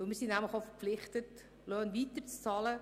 Wir sind auch verpflichtet, Löhne weiterzuzahlen.